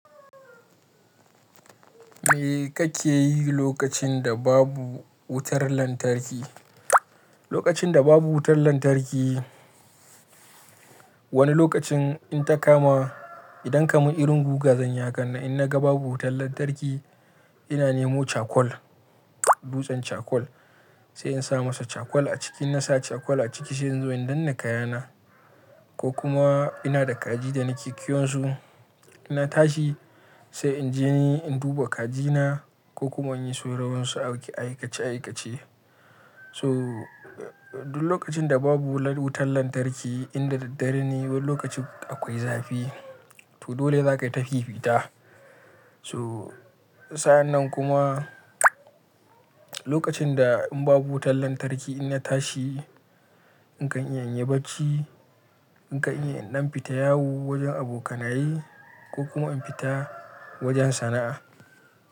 Me kake yi lokacin da babu wutar lantarki? Lokacin da babu wutar lantarki, wani lokacin in ta kama, idan kaman irin guga zanyi a kanna, in na ga babu wutar lantarki, ina nemo cakwal, dutsen cakwal, sai in sa masa cakwal a ciki, na sa cakwal a ciki sai in zo in danne kayana ko kuma ina da kaji da na ke kiwon su, ina tashi sai in je in duba kajina ko kuma in yi sauran wasu aikace aikace. So, duk lokacin da babu wutar lantarki, in da daddare ne, wani lokacin akwai zafi, to dole za ka tafi fita. So, sa'an nan kuma lokacin da in babu wutar lantarki, ina tashi in kan iya in yi bacci, in kan iya in ɗan fita yawo wajen abokanaye ko kuma in fita wajen sana'a.